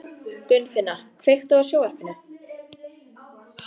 Gunnfinna, kveiktu á sjónvarpinu.